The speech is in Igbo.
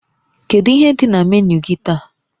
Kedu ihe dị na menu gị taa?